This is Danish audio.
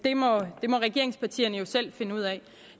det må regeringspartierne selv finde ud af